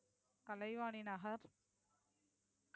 Kalaivani Nagar